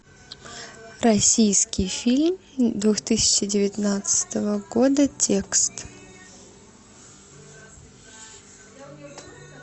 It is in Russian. российский фильм две тысячи девятнадцатого года текст